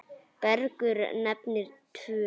Bergur nefnir tvö.